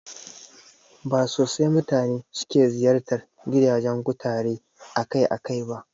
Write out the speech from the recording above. Ba sosai mutane suke ziyartar gidajen kutare akai-akai ba